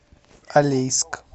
алейск